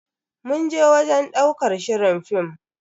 Mun je wajen ɗaukar shirin fim.